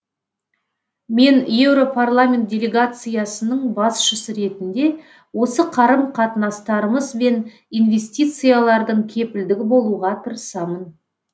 мен еуропарламент делегациясының басшысы ретінде осы қарым қатынастарымыз бен инвестициялардың кепілдігі болуға тырысамын